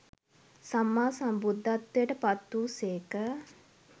සම්මා සම්බුද්ධත්වයට පත් වූ සේක.